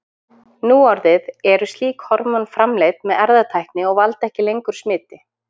Núorðið eru slík hormón framleidd með erfðatækni og valda ekki lengur smiti.